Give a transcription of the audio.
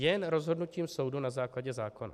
Jen rozhodnutím soudu na základě zákona.